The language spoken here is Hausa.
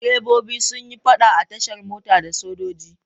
Direbobi sun yi faɗa a tashar mota da sojoji.